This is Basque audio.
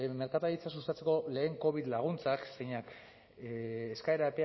merkataritza sustatzeko lehen covid laguntzak zeinak eskaera